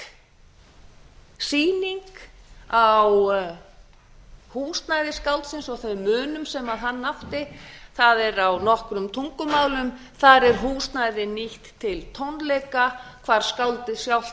virk sýning á húsnæði skáldsins og þeim munum sem hann átti það er á nokkrum tungumálum þar er húsnæði nýtt til tónleika hvar skáldið sjálft